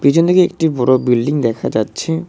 পিছনদিকে একটি বড় বিল্ডিং দেখা যাচ্ছে।